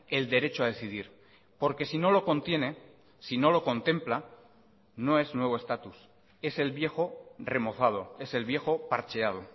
el derecho a decidir porque si no lo contiene si no lo contempla no es nuevo estatus es el viejo remozado es el viejo parcheado